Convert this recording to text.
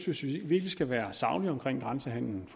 hvis vi virkelig skal være saglige omkring grænsehandelen